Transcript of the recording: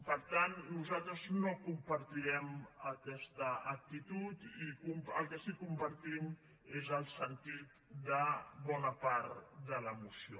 per tant nosaltres no compartirem aquesta actitud i el que sí que compartim és el sentit de bona part de la moció